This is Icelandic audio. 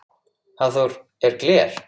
Hafþór: En gler?